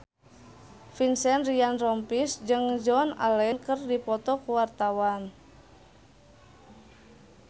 Vincent Ryan Rompies jeung Joan Allen keur dipoto ku wartawan